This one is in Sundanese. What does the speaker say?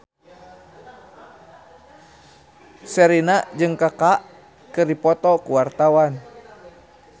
Sherina jeung Kaka keur dipoto ku wartawan